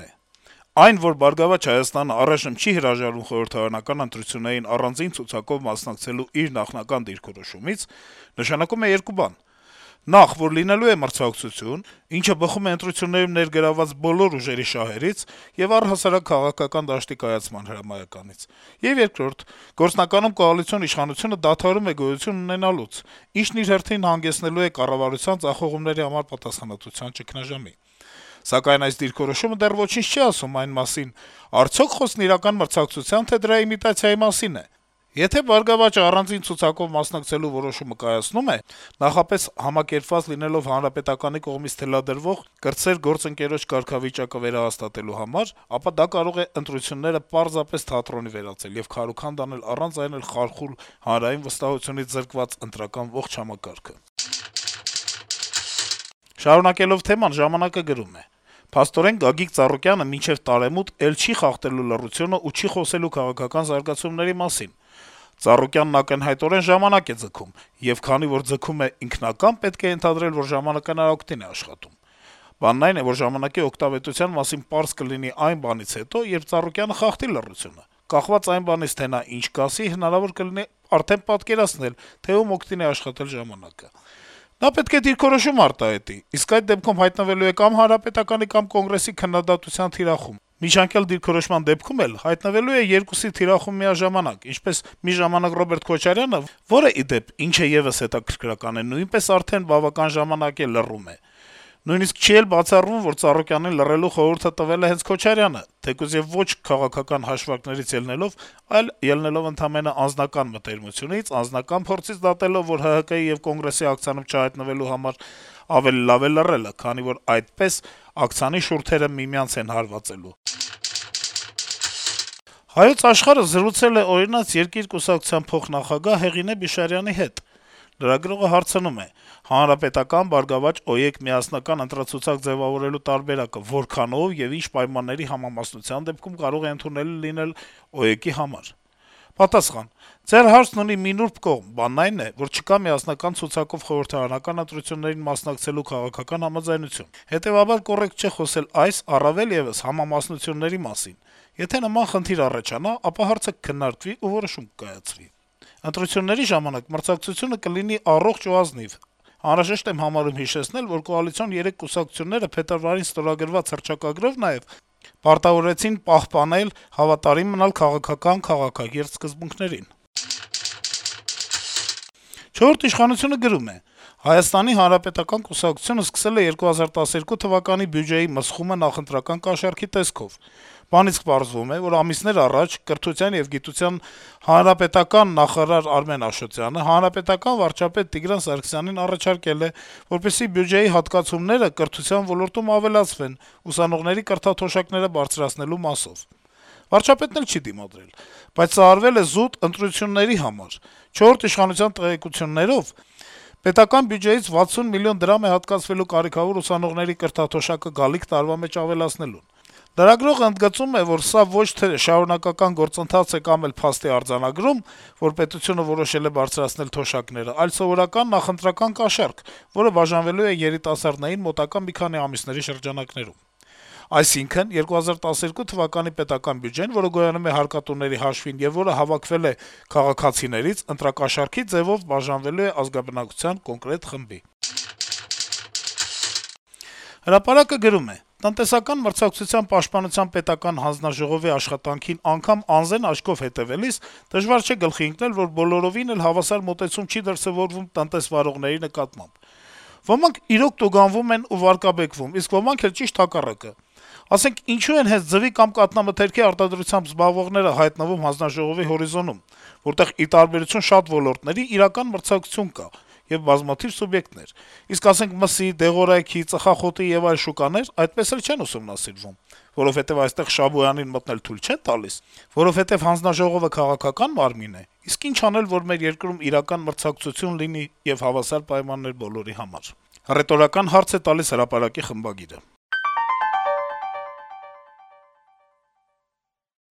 է. - «Այն, որ «Բարգավաճ Հայաստանը» առայժմ չի հրաժարվում խորհրդարանական ընտրություններին առանձին ցուցակով մասնակցելու իր նախնական դիրքորոշումից, նշանակում է երկու բան: Նախ` որ լինելու է մրցակցություն, ինչը բխում է ընտրություններում ներգրավված բոլոր ուժերի շահերից եւ առհասարակ քաղաքական դաշտի կայացման հրամայականից, եւ երկրորդ` գործնականում կոալիցիոն իշխանությունը դադարում է գոյություն ունենալուց, ինչն իր հերթին հանգեցնելու է կառավարության ձախողումների համար պատասխանատվության ճգնաժամի: Սակայն այս դիրքորոշումը դեռ ոչինչ չի ասում այն մասին` արդյո՞ք խոսքն իրական մրցակցության, թե՞ դրա իմիտացիայի մասին է: Եթե ԲՀԿ-ն առանձին ցուցակով մասնակցելու որոշումը կայացնում է` նախապես համակերպված լինելով ՀՀԿ-ի կողմից թելադրվող, կրտսեր գործընկերոջ կարգավիճակը վերահաստատելու համար, ապա դա կարող է ընտրությունները պարզապես թատրոնի վերածել եւ քարուքանդ անել առանց այն էլ խարխուլ, հանրային վստահությունից զրկված ընտրական ողջ համակարգը»: Շարունակելով թեման` «Ժամանակ»-ը գրում է. - «Փաստորեն, Գագիկ Ծառուկյանը մինչեւ տարեմուտ էլ չի խախտելու լռությունն ու չի խոսելու քաղաքական զարգացումների մասին: Ծառուկյանն ակնհայտորեն ժամանակ է ձգում, եւ քանի որ ձգում է ինքնակամ, պետք է ենթադրել, որ ժամանակը նրա օգտին է աշխատում… Բանն այն է, որ ժամանակի օգտավետության մասին պարզ կլինի այն բանից հետո, երբ Ծառուկյանը խախտի լռությունը: Կախված այն բանից, թե նա ինչ կասի, հնարավոր կլինի արդեն պատկերացնել, թե ում օգտին է աշխատել ժամանակը… Նա պետք է դիրքորոշում արտահայտի, իսկ այդ դեպքում հայտնվելու է կամ Հանրապետականի, կամ Կոնգրեսի քննադատության թիրախում: Միջանկյալ դիրքորոշման դեպքում էլ, հայտնվելու է երկուսի թիրախում միաժամանակ, ինչպես մի ժամանակ Ռոբերտ Քոչարյանը, որը, ի դեպ, ինչը եւս հետաքրքրական է, նույնպես արդեն բավական երկար ժամանակ է լռում է: Նույնիսկ չի էլ բացառվում, որ Ծառուկյանին լռելու խորհուրդ տվել է հենց Քոչարյանը, թեկուզ եւ ոչ քաղաքական հաշվարկներից ելնելով, այլ ելնելով ընդամենը անձնական մտերմությունից, անձնական փորձից դատելով, որ ՀՀԿ եւ Կոնգրեսի աքցանում չհայտնվելու համար ավելի լավ է լռելը, քանի որ այդպես աքցանի շուրթերը միմյանց են հարվածելու»: «Հայոց Աշխարհ»-ը զրուցել է «Օրինաց երկիր» կուսակցության փոխնախագահ Հեղինե Բիշարյանի հետ: Լրագրողը հարցնում է. - «ՀՀԿ-ԲՀԿ-ՕԵԿ միասնական ընտրացուցակ ձեւավորելու տարբերակը որքանո՞վ ու ի՞նչ պայմանների համամասնության դեպքում կարող է ընդունելի լինել ՕԵԿ-ի համար»: Պատասխան. - «ՀՀԿ-ԲՀԿ-ՕԵԿ միասնական ընտրացուցակ ձեւավորելու տարբերակը որքանո՞վ ու ի՞նչ պայմանների համամասնության դեպքում կարող է ընդունելի լինել ՕԵԿ-ի համար… Ընտրությունների ժամանակ մրցակցությունը կլինի առողջ ու ազնիվ: Անհրաժեշտ եմ համարում հիշեցնել, որ կոալիցիոն երեք կուսակցությունները փետրվարին ստորագրած հռչակագրով նաեւ պարտավորվեցին պահպանել, հավատարիմ մնալ քաղաքական քաղաքակիրթ սկզբունքներին»: «Չորրորդ ինքնիշխանություն»-ը գրում է. - «Հայաստանի հանրապետական կուսակցությունը սկսել է 2012 թվականի բյուջեի մսխումը նախընտրական կաշառքի տեսքով: Բանից պարզվում է, որ ամիսներ առաջ Կրթության եւ գիտության ՀՀԿ-ական նախարար Արմեն Աշոտյանը ՀՀԿ-ական վարչապետ Տիգրան Սարգսյանին առաջարկել է, որպեսզի բյուջեի հատկացումները կրթության ոլորտում ավելացվեն` ուսանողների կրթաթոշակները բարձրացնելու մասով: Վարչապետն էլ չի դիմադրել: Բայց սա արվել է զուտ ընտրությունների համար: «ՉԻ» տեղեկություններով` ՀՀ պետական բյուջեից 60 միլիոն դրամ է հատկացվելու կարիքավոր ուսանողների կրթաթոշակը գալիք տարվա մեջ ավելացելուն: Ընդգծում ենք, սա ոչ թե շարունակական գործընթաց է կամ էլ փաստի արձանագրում, որ պետությունը որոշել է բարձրացնել թոշակները, այլ սովորական նախընտրական կաշառք, որը բաժանվելու է երիտասարդներին մոտակա մի քանի ամիսների շրջանակներում: Այսինքն` 2012 թվականի պետական բյուջեն, որը գոյանում է հարկատուների հաշվին եւ որը հավաքվել է քաղաքացիներից, ընտրակաշառքի ձեւով բաժանվելու է ազգաբնակչության կոնկրետ խմբի»: «Հրապարակ»-ը գրում է. - «Տնտեսական մրցակցության պաշտպանության պետական հանձնաժողովի աշխատանքին անգամ անզեն աչքով հետեւելիս դժվար չէ գլխի ընկնել, որ բոլորովին էլ հավասար մոտեցում չի դրսեւորվում տնտեսվարողների նկատմամբ: Ոմանք, իրոք, տուգանվում են ու վարկաբեկվում, իսկ ոմանք էլ՝ ճիշտ հակառակը: Ասենք, ինչո՞ւ են հենց ձվի կամ կաթնամթերքի արտադրությամբ զբաղվողները հայտնվում ՏՄՊՊՀ հորիզոնում, որտեղ, ի տարբերություն շատ ոլորտների, իրական մրցակցություն կա եւ բազմաթիվ սուբյեկտներ: Իսկ, ասենք, մսի, դեղորայքի, ծխախոտի եւ այլ շուկաներ այդպես էլ չեն ուսումնասիրվում: Որովհետեւ այստեղ Շաբոյանին մտնել թույլ չե՞ն տալիս: Որովհետեւ ՏՄՊՊՀ-ն քաղաքական մարմի՞ն է»: «Իսկ ի՞նչ անել, որ մեր երկրում իրական մրցակցություն լինի եւ հավասար պայմաններ բոլորի համար», - հռետորական հարց է տալիս «Հրապարակ»-ի խմբագիրը: